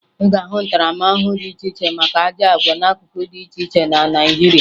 Ị ga-ahụ ntaramahụhụ dị iche iche maka ajọ àgwà n'akụkụ dị iche iche na Naịjirịa